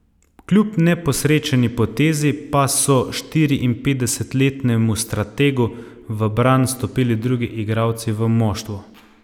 Kljub neposrečeni potezi pa so štiriinpetdesetletnemu strategu v bran stopili drugi igralci v moštvu.